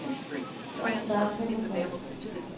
Det er op til dig at kæmpe for det.